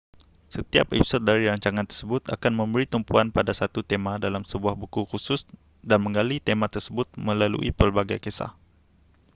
setiap episod dari rancangan tersebut akan memberi tumpuan pada satu tema dalam sebuah buku khusus dan menggali tema tersebut melalui pelbagai kisah